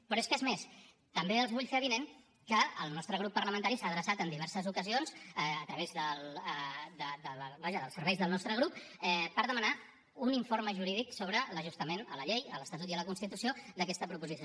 però és que és més també els vull fer avinent que el nostre grup parlamentari s’ha adreçat en diverses ocasions a través dels serveis del nostre grup per demanar un informe jurídic sobre l’ajustament a la llei a l’estatut i a la constitució d’aquesta proposició